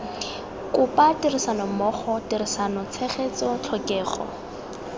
kopa tirisanommogo tirisano tshegetso tlhokego